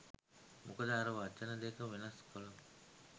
මොකද අර වචන දෙක වෙනස් කලොත්